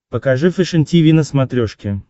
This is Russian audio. покажи фэшен тиви на смотрешке